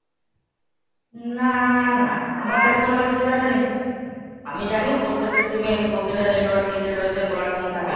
না না, আমার কাছে কোনো massage ফ্যাসাজ আসেনি। আমি জানি প্রত্যেকটা SIMএ প্রত্যেকটা network এই যেটা রয়েছে color tune থাকে।